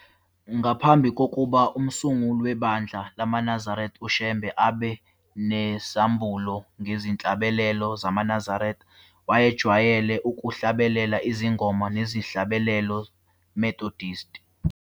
Ngaphambi kokuba umsunguli webandla lamaNazaretha uShembe abe nezambulo ngezihlabelelo zamaNazaretha, wayejwayele ukuhlabelela izingoma nezihlabelelo Methodist.